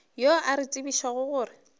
yo a re tsebišago gore